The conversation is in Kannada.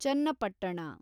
ಚನ್ನಪಟ್ಟಣ